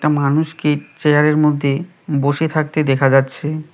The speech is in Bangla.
মানুষকে চেয়ারের মধ্যে বসে থাকতে দেখা যাচ্ছে।